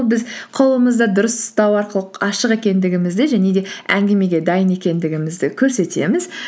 біз қолымызды дұрыс ұстау арқылы ашық екендігімізді және де әңгімеге дайын екендігімізді көрсетеміз